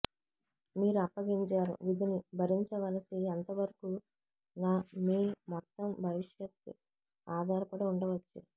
మీరు అప్పగించారు విధిని భరించవలసి ఎంతవరకు న మీ మొత్తం భవిష్యత్తు ఆధారపడి ఉండవచ్చు